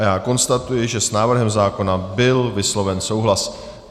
A já konstatuji, že s návrhem zákona byl vysloven souhlas.